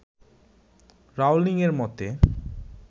Rowling এর মতে